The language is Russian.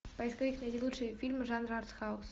поисковик найди лучшие фильмы жанра артхаус